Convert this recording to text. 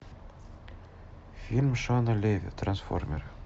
фильм шона леви трансформеры